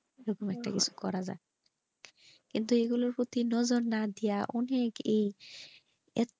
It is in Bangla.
কিন্তু এইগুলো ঠিক ভাবে না দিয়া অনেকে